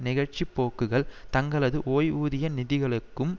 நிகழ்ச்சிபோக்குகள் தங்களது ஓய்வூதிய நிதிகளுக்கும்